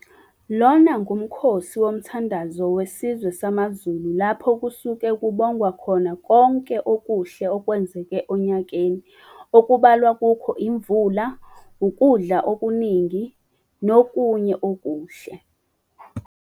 Lona ngumkhosi womthandazo wesizwe samaZulu lapho kusuke kubongwa khona konke okuhle okwenzeke onyakeni okubalwa kukho imvula, ukudla ikuningi, nokunye okuhle.